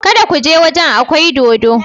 Kada ku je waje akwai dodo.